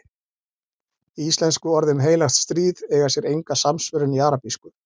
Íslensku orðin heilagt stríð eiga sér enga samsvörun í arabísku.